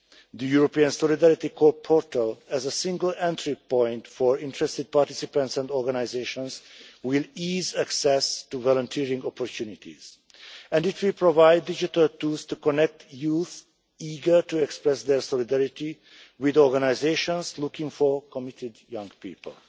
The European Solidarity Corps portal as a single entry point for interested participants and organisations will ease access to volunteering opportunities, and it will provide digital tools to connect youth eager to express their solidarity with organisations looking for committed young people.